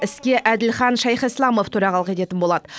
іске әділхан шайхислямов төрағалық ететін болады